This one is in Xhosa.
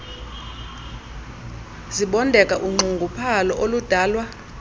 zibondeka unxunguphalo oludalwa